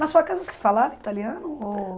Na sua casa se falava italiano? Ou